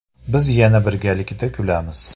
Biz yana birgalikda kulamiz.